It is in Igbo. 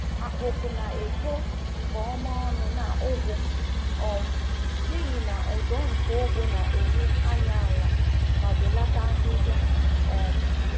Akpụ̀kụ na-eto nke ọma ọnụ na ugu um n’ihi na ụdọ nke ugu na-enye anya ala ma belata ahịhịa. um